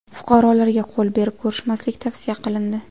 Fuqarolarga qo‘l berib ko‘rishmaslik tavsiya qilindi .